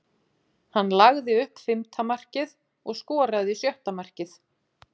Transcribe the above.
Hann lagði upp fimmta markið og skoraði sjötta markið.